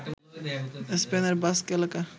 স্পেনের বাস্ক এলাকা